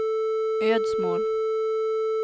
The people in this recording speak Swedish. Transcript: Ödsmål